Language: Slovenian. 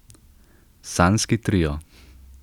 Sanjski trio.